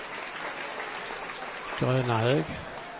Grönahög